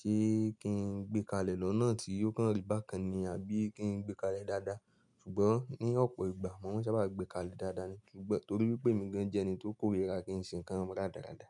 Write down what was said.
Ṣé kí n gbé kalẹ̀ lọ́nà tí yóò kán rí bákan ni àbí kí n gbé kalẹ̀ dáadáa? Ṣùgbọ́n ní ọ̀pọ̀ ìgbà, mo sábà gbé kalẹ̀ dáadáa ni. Ṣùgbọ́n torí pé mí gán jẹ́ ẹni tó kórìíra kí n ṣe ǹkan dáradára.